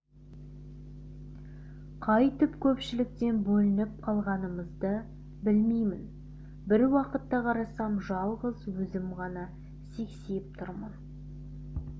қайтіп көпшіліктен бөлініп қалғанымды білмеймін бір уақытта қарасам жалғыз өзім ғана сексиіп тұрмын